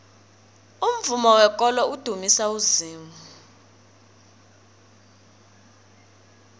umvumo wekolo udumisa uzimu